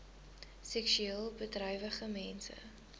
seksueel bedrywige mense